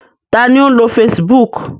Ta ni ó ń lo Facebook?